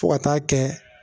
Fo ka taa kɛ